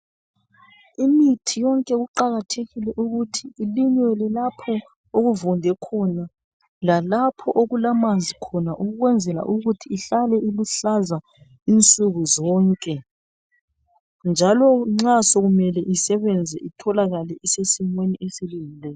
Imithi yonke kuqakathekile ukuthi ilinyelwe lapho okuvunde khona lalapho okulamanzi khona ukwenzela ukuthi ihlale iluhlaza insuku zonke, njalo nxa sokumele isebenze itholakale isesimeni esilungileyo.